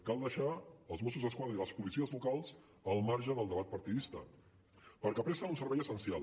cal deixar els mossos d’esquadra i les policies locals al marge del debat partidista perquè presten un servei essencial